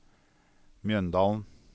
Mjøndalen